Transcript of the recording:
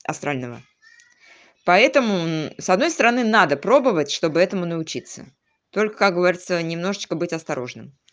астрального поэтому с одной стороны надо пробовать чтобы этому научиться только как говорится немножечко будь осторожным